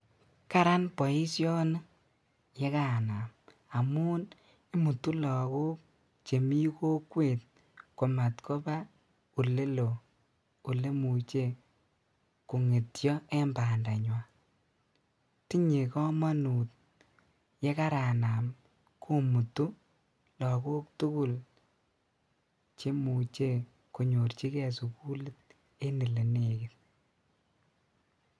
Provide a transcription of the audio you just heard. Karan boisioni yekanam amun imutu lagok chemi kokwet komat kobaa olelo okemuche kongetio en bandanywan tinyee komonut yekaranam komutu lagok tugul chemuche konyorjigee sukulit en elenegit.